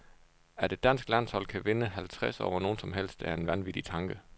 At et dansk landshold kan vinde halvtreds over nogen som helst er en vanvittig tanke.